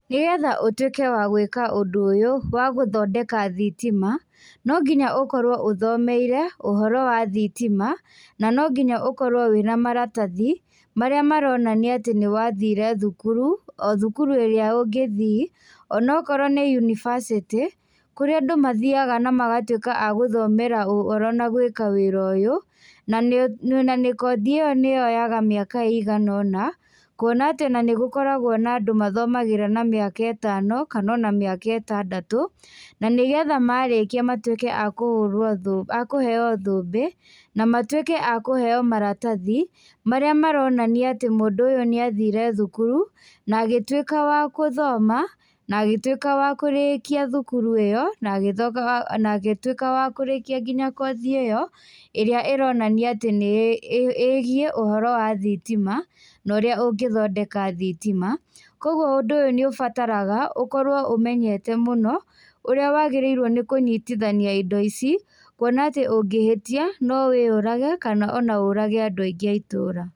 Nĩgetha ũtwĩke wa gwĩka ũndũ ũyũ, wa gũthondeka thitima, nonginya ũkorwo ũthomeire, ũhoro wa thitima, na nonginya ũkorwo wĩna maratathi, marĩa maronania atĩ nĩwathire thukuru, o thukuru ĩrĩa ũngĩthii, onokorwo nĩ yunibasĩtĩ, kũrĩa andũ mathiaga na magatwĩka a gũthomera ũhoro na gwĩka wĩra ũyũ, nanĩ nanĩ kothi ĩyo nĩyoyoga mĩaka ĩiganona, kuona atĩ onanĩgũkoragwo na andũ mathomagĩra na mĩaka ĩtano, kanona mĩaka ĩtandatũ, nanĩgetha ona marĩkia matwĩke a kũhũrwo thũ,a kũheo thũmbĩ, na matwĩke a kũheo maratathi, marĩa maronania atĩ mũndũ ũyú nĩathire thukuru, na agĩtwĩka wa gũthoma, naagĩtwĩka wa kũrĩkia thukuru ĩyo, na agĩtho na agĩtwĩka wa kũrĩkia nginya kothi ĩyo, ĩrĩa ĩronania atĩ nĩ ĩgiĩ ũhoro wa thitima, norĩa ũngĩthondeka thitima, koguo ũndũ ũyũ nĩũbataraga, ũkorwo ũmenyete mũno, ũrĩa wagĩrĩirwo nĩ kũnyitithania indo ici, kuona atĩ ũngĩhĩtia, nowĩyũrage, kana ona ũrage andũ aingĩ a itũra.